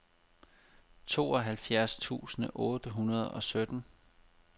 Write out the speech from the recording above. tooghalvfjerds tusind otte hundrede og sytten